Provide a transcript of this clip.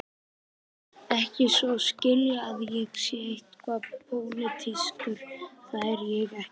Ekki svo að skilja að ég sé eitthvað pólitískur, það er ég ekki.